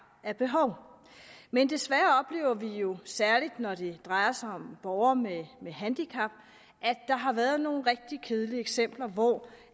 af behov men desværre oplever vi jo særlig når det drejer sig om borgere med med handicap at der har været nogle rigtig kedelige eksempler på